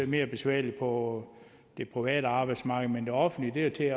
mere besværligt på det private arbejdsmarked men det offentlige er til